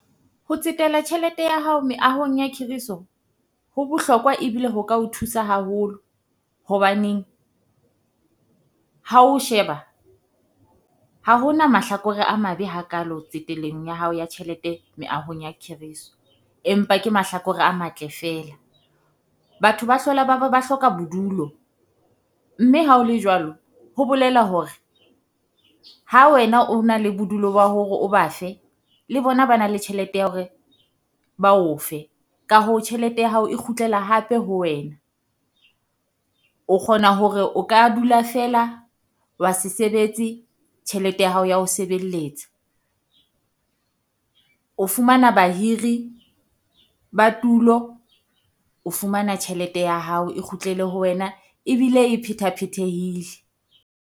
Ho tsetela tjhelete ya hao meahong ya khiriso ho bohlokwa ebile ho ka o thusa haholo, hobaneng ha o sheba ha ho na mahlakore a mabe hakalo tsetelong ya hao ya tjhelete meahong ya khiriso. Empa ke mahlakore a matle feela, batho ba hlola ba ba ba hloka bodulo mme ha ho le jwalo, ho bolela hore ha wena o na le bodulo ba hore o ba fe. Le bona ba na le tjhelete ya hore ba o fe, ka hoo tjhelete ya hao e kgutlela hape ho wena. O kgona hore o ka dula feela wa se sebetse, tjhelete ya hao ya ho sebelletsa. O fumana bahiri ba tulo, o fumana tjhelete ya hao e kgutlele ho wena ebile e phetha-phethahile.